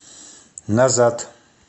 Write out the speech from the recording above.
назад